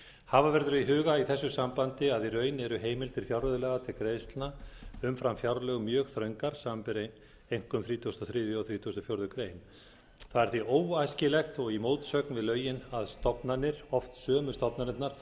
hafa verður í huga í þessu sambandi að í raun eru heimildir fjárreiðulaga til greiðslna umfram fjárlög mjög þröngar samanber einkum þrítugasta og þriðja og þrítugasta og fjórðu grein það er því óæskilegt og í mótsögn við lögin að stofnanir oft sömu stofnanirnar fari ár eftir